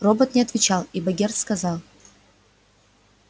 робот не отвечал и богерт сказал